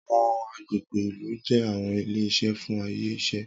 Awọn agbegbe ilu jẹ awọn ile-iṣẹ fun aye iṣẹ.